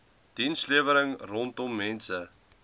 dienslewering rondom mense